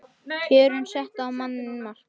Kjörin settu á manninn mark